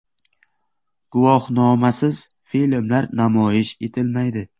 Guvohnomasiz filmlar namoyish etilmaydi.